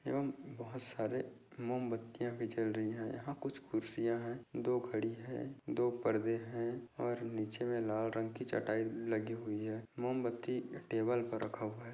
एवम् बोहोत सारे मोमबत्तियाँ भी जल रही है यहाँ कुछ खुर्सिया है दो घड़ी है दो पर्दे है और नीचे में लाल रंग की चटाई लगी हुई हैं मोमबत्ती टेबल पर रखा हुआ है।